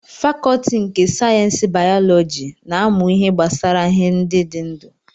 Fakọọti nke sayensị bayọlọji na-amụ ihe gbasara ihe ndị dị ndụ